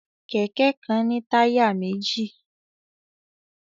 Kẹ̀kẹ́ kan ní táyà méjì